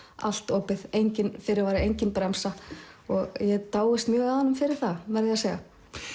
allt opið enginn fyrirvari engin bremsa og ég dáist mjög að honum fyrir það verð ég að segja